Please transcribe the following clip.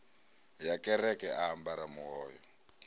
ya kereke a ambara muhoyo